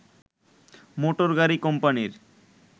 মোটরগাড়ি কোম্পানির